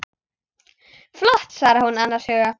Flott, svarar hún annars hugar.